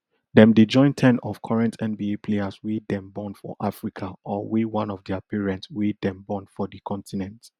dem dey join ten of current nba players wey dem born for africa or wey one of dia parent wey dem born for d continent